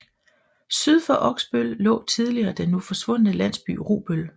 Syd for Oksbøl lå tidligere den nu forsvundne landsby Rubøl